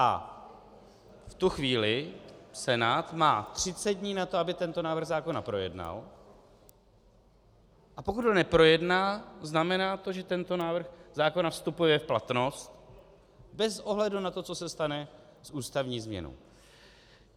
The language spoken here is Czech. A v tu chvíli Senát má 30 dní na to, aby tento návrh zákona projednal, a pokud ho neprojedná, znamená to, že tento návrh zákona vstupuje v platnost bez ohledu na to, co se stane s ústavní změnou.